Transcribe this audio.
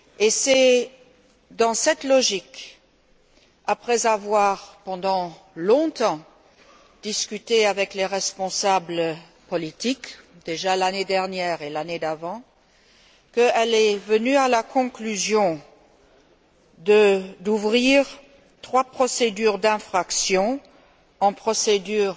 C'est dans cette logique, après avoir, pendant longtemps, discuté avec les responsables politiques, dès l'année dernière et l'année précédente, qu'elle en est venue à la décision d'ouvrir trois procédures d'infraction, sous la forme de procédures